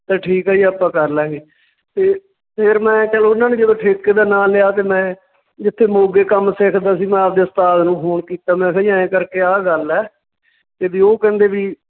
ਤੇ ਠੀਕ ਆ ਜੀ ਆਪਾਂ ਕਰ ਲਵਾਂਗੇ ਤੇ ਫੇਰ ਮੈਂ ਚੱਲ ਉਹਨਾਂ ਨੇ ਜਦੋਂ ਠੇਕੇ ਦਾ ਨਾਂ ਲਿਆ ਤੇ ਮੈਂ ਜਿੱਥੇ ਮੋਗੇ ਕੰਮ ਸਿੱਖਦਾ ਸੀ ਮੈਂ ਆਪਦੇ ਉਸਤਾਦ ਨੂੰ phone ਕੀਤਾ, ਮੈਂ ਕਿਹਾ ਜੀ ਐਂ ਕਰਕੇ ਆਹ ਗੱਲ ਆ ਤੇ ਵੀ ਉਹ ਕਹਿੰਦੇ ਵੀ